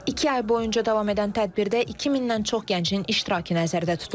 İki ay boyunca davam edən tədbirdə 2000-dən çox gəncin iştirakı nəzərdə tutulub.